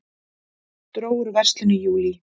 Dró úr verslun í júlí